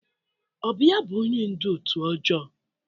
Ọ bụ ya bụ onye ndú òtù ọjọọ?